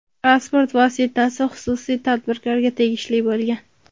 Transport vositasi xususiy tadbirkorga tegishli bo‘lgan.